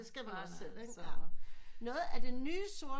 Det skal man også selv ikke noget af det nye sort